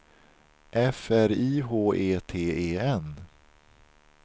F R I H E T E N